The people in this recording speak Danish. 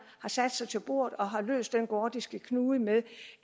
har sat sig til bordet og har løst den gordiske knude med